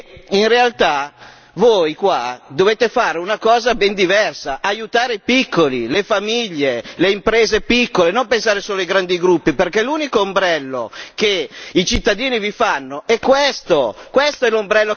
Allora credo che in realtà voi, qua, dovete fare una cosa ben diversa, aiutare i piccoli, le famiglie, le imprese piccole e non pensare solo ai grandi gruppi perché l'unico ombrello che i cittadini vi fanno è questo.